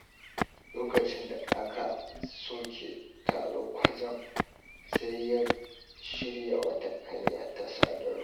Lokacin da aka soke taro kwatsam, sai ya shirya wata hanya ta sadarwa.